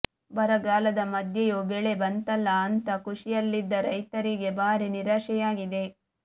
ಬರಗಾಲದ ಮಧ್ಯೆಯೂ ಬೆಳೆ ಬಂತಲ್ಲಾ ಅಂತ ಖುಷಿಯಲ್ಲಿದ್ದ ರೈತರಿಗೆ ಭಾರೀ ನಿರಾಶೆಯಾಗಿದೆ